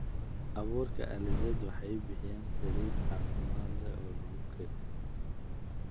Abuurka alizeti waxay bixiyaan saliid caafimaad leh oo lagu kariyo.